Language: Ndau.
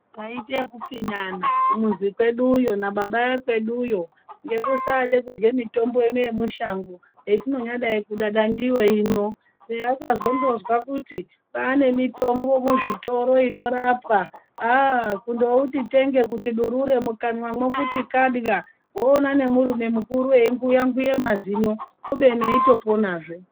Taiite ekupfinyana kumuzi kweduyo nababa ekweduyo ngekusade kurye mitombo ino yemushango hetinonyadai kudada ndiyo ino peyakandozwa kuti kwane mitombo muzvitoro inorapa ahh kundouti tenge durure mukanwamwo kuti kadiya wone nemurume mukuru einguya-nguya mazino kubeni eitoponazve.